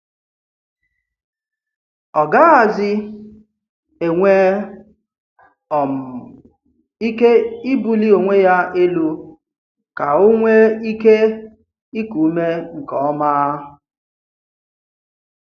Ọ̀ gàghàzì enwè um íké íbúlí onwe ya élù ka ọ̀ nwee íké íkù ùmé nke ọ́ma.